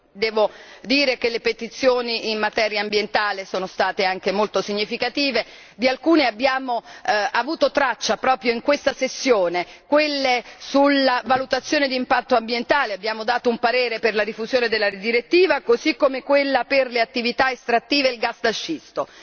Devo dire che le petizioni in materia ambientale sono state anche molto significative, di alcune abbiamo avuto traccia proprio in questa sessione, quelle sulla valutazione di impatto ambientale abbiamo dato un parere per la rifusione della direttiva così come quella per le attività estrattive e il gas da scisto.